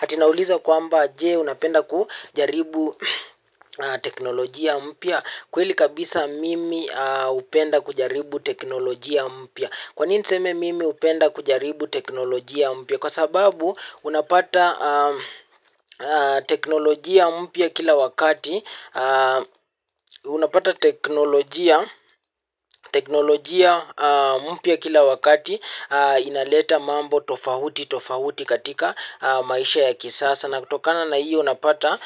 Ati naulizwa kwamba, jee unapenda kujaribu teknolojia mpya? Kweli kabisa, mimi hupenda kujaribu teknolojia mpya. Kwa nini niseme mimi hupenda kujaribu teknolojia mpya? Kwa sababu unapata teknolojia mpia kila wakati. Ati naulizwa kwamba, jee unapenda kujaribu teknolojia mpya? Kweli kabisa, mimi hupenda kujaribu teknolojia mpya. Kwa nini niseme mimi hupenda kujaribu teknolojia mpya? Kwa sababu unapata inaleta mambo tofauti tofauti katika maisha ya kisasa na kutokana na iyo unapata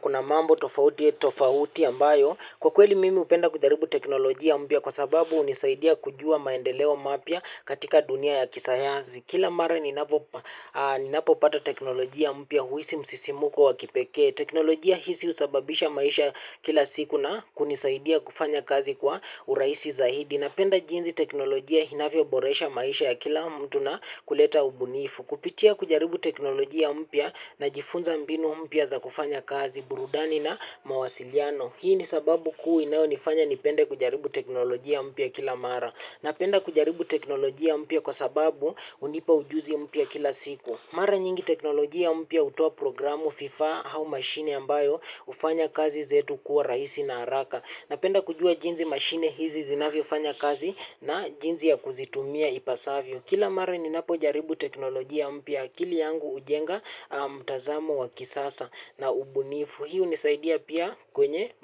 kuna mambo tofauti ya tofauti ambayo, kwa kweli mimi hupenda kujaribu teknolojia mpia kwa sababu unisaidia kujua maendeleo mapya katika dunia ya kisayanzi. Kila mara ninapo pata teknolojia mpya huisi msisimuko wakipekee. Teknolojia hizi husababisha maisha kila siku na kunisaidia kufanya kazi kwa urahisi zaidi. Napenda jinzi teknolojia inavyo boresha maisha ya kila mtu na kuleta ubunifu. Kupitia kujaribu teknolojia mpya na jifunza mbinu mpia za kufanya kazi, burudani na mawasiliano. Hii ni sababu kuu inayo nifanya nipende kujaribu teknolojia mpya kila mara. Napenda kujaribu teknolojia mpia kwa sababu unipa ujuzi mpia kila siku. Mara nyingi teknolojia mpya hutoa programu vifaa, au mashine ambayo hufanya kazi zetu kuwa rahisi na haraka. Napenda kujua jinsi mashine hizi zinavyo fanya kazi na jinsi ya kuzitumia ipasavyo. Kila mara ni napo jaribu teknolojia mpya, akili yangu hujenga mtazamo wa kisasa na ubunifu. Hii hunisaidia pia kwenye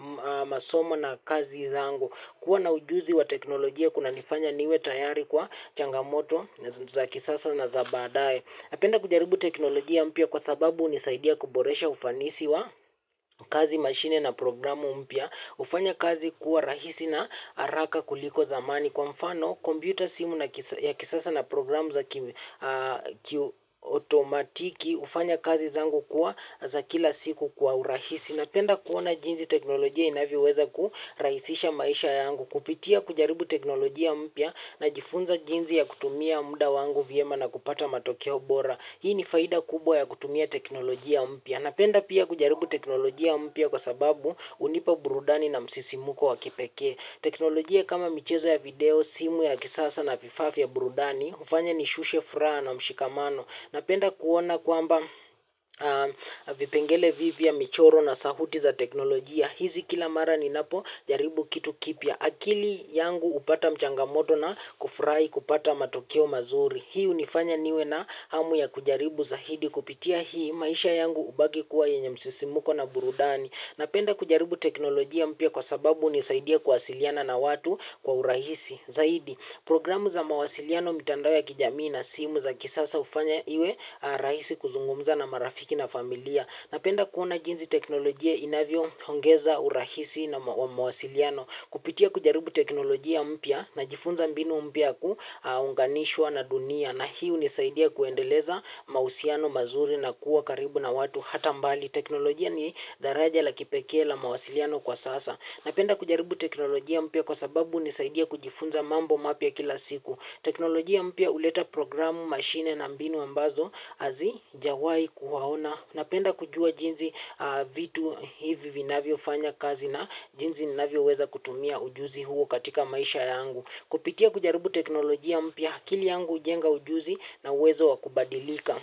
masomo na kazi zangu. Kuwa na ujuzi wa teknolojia kuna nifanya niwe tayari kwa changa moto za kisasa na zabaadae. Napenda kujaribu teknolojia mpia kwa sababu nisaidia kuboresha ufanisi wa kazi mashine na programu mpia. Hufanya kazi kuwa rahisi na haraka kuliko zamani. Kwa mfano, computer, simu ya kisasa na programu za kiuotomatiki, hufanya kazi zangu kuwa za kila siku kwa urahisi. Napenda kuona jinzi teknolojia inavioweza kuraisisha maisha yangu, kupitia kujaribu teknolojia mpya na jifunza jinzi ya kutumia muda wangu vyema na kupata matokeo bora. Hii ni faida kubwa ya kutumia teknolojia mpya. Napenda pia kujaribu teknolojia mpya kwa sababu hunipa burudani na msisimuko wakipekee. Teknolojia kama michezo ya video, simu ya kisasa na vifaa ya burudani, hufanya nishushe furaha na mshikamano. Napenda kuona kwamba vipengele vivia, michoro na sauti za teknolojia. Hizi kila mara ni napo jaribu kitu kipya. Akili yangu hupata mchanga moto na kufurahi kupata matokeo mazuri. Hii hunifanya niwe na hamu ya kujaribu zaidi. Kupitia hii maisha yangu, hubaki kuwa yenye msisimuko na burudani. Napenda kujaribu teknolojia mpya kwa sababu hunisaidia kuwasiliana na watu kwa urahisi zaidi. Programu za mawasiliano mitandao ya kijamii na simu za kisasa ufanya iwe rahisi kuzungumza na marafiki na familia. Napenda kuona jinzi teknolojia inavyo ongeza urahisi wa mawasiliano. Kupitia kujaribu teknolojia mpya na jifunza mbinu mpya kuunganishwa na dunia na hii hunisaidia kuendeleza mahusiano mazuri na kuwa karibu na watu hata mbali. Teknolojia ni daraja la kipekee la mawasiliano kwa sasa. Napenda kujaribu teknolojia mpya kwa sababu, hunisaidia kujifunza mambo mapya kila siku. Teknolojia mpya huleta programu, mashine na mbinu ambazo hazijawai kuwaona. Napenda kujua jinzi vitu hivi vinavyo fanya kazi na jinzi ninavyo weza kutumia ujuzi huo katika maisha yangu. Kupitia kujaribu teknolojia mpya, akili yangu hujenga ujuzi na wezo wakubadilika.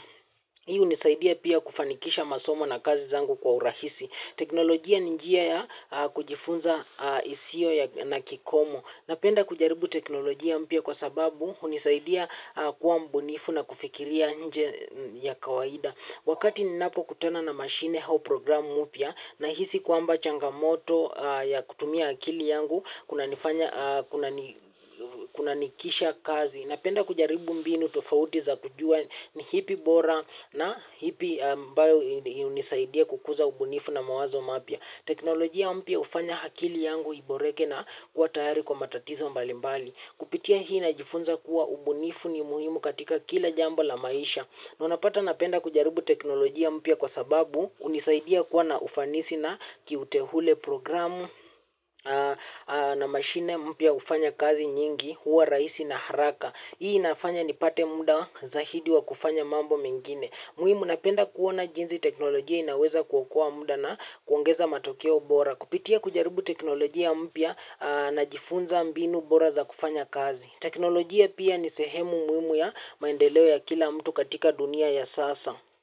Hii hunisaidia pia kufanikisha masomo na kazi zangu kwa urahisi. Teknolojia ni njia ya kujifunza isio na kikomo. Napenda kujaribu teknolojia mpya kwa sababu hunisaidia kuwa mbunifu na kufikiria nje ya kawaida. Wakati ninapo kutana na mashine au programu mpya, na hisi kwamba changa moto ya kutumia akili yangu kuna nikisha kazi. Napenda kujaribu mbinu tufauti za kujua ni ipi bora na ipi ambayo hunisaidia kukuza ubunifu na mawazo mapya. Teknolojia mpya hufanya akili yangu iboreke na kua tayari kwa matatizo mbalimbali. Kupitia hii, na jifunza kuwa ubunifu ni muhimu katika kila jambo la maisha. Na unapata napenda kujaribu teknolojia mpya kwa sababu, hunisaidia kuwa na ufanisi na kiuteule programu na mashine mpia ufanya kazi nyingi huwa rahisi na haraka. Hii inafanya nipate muda zaidi wa kufanya mambo mengine. Muhimu napenda kuona jinzi teknolojia inaweza kuokoa muda na kuongeza matokeo bora. Kupitia kujaribu teknolojia mpya na jifunza mbinu bora za kufanya kazi. Teknolojia pia ni sehemu muhimu ya maendeleo ya kila mtu katika dunia ya sasa.